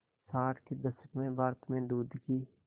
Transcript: साठ के दशक में भारत में दूध की